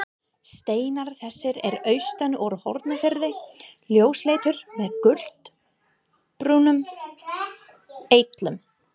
Steinar þessir eru austan úr Hornafirði, ljósleitir með gulbrúnum eitlum.